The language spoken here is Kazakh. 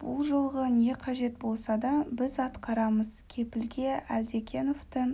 бұл жолғы не қажет болса да біз атқарамыз кепілге әлдекеновті